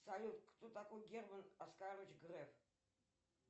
салют кто такой герман оскарович греф